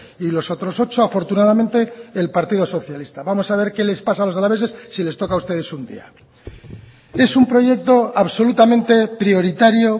y los otros ocho afortunadamente el partido socialista vamos a ver qué les pasa a los alaveses si les toca a ustedes un día es un proyecto absolutamente prioritario